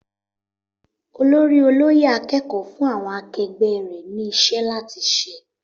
Olórí olóyè akẹ́kọ̀ọ́ fún àwọn akegbé rè ni iṣẹ́ láti ṣe